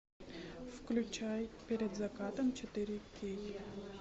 включай перед закатом четыре кей